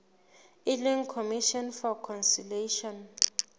e leng commission for conciliation